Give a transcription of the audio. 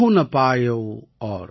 काहु न पायौ और |